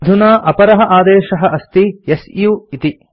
अधुना अपरः आदेशः अस्ति सु इति